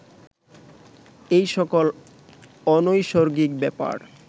এই সকল অনৈসর্গিক ব্যাপার